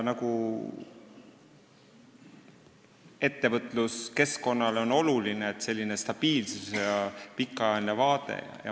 Ettevõtluskeskkonnale on oluline stabiilsus ja pikaajaline vaade.